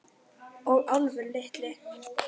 Og Álfur litli.